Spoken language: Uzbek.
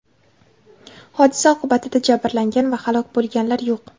Hodisa oqibatida jabrlangan va halok bo‘lganlar yo‘q.